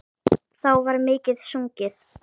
Þá var mikið sungið.